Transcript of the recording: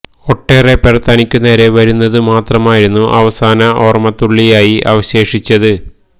ഒട്ടേറെ പേർ തനിക്കു നേരെ വരുന്നതു മാത്രമായിരുന്നു അവസാന ഓർമത്തുള്ളിയായി അവശേഷിച്ചത്